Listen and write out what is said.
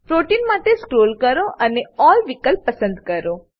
protein માટે scroll કરો અને અલ્લ વિકલ્પ પસંદ કરો